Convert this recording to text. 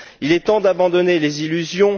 Il est temps d'abandonner les illusions.